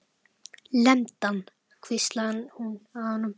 Lemdu hann hvíslaði hún að honum.